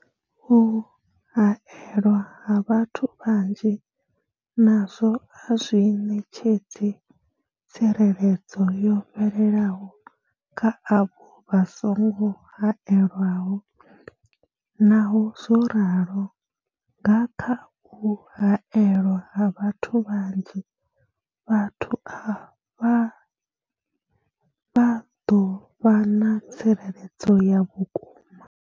U haelwa ha vhathu vhanzhi nazwo a zwi ṋetshedzi tsireledzo yo fhelelaho kha avho vha songo haelwaho, Naho zwo ralo, nga kha u haelwa ha vhathu vhanzhi, vhathu avha vha ḓo vha na tsireledzo ya vhukuma.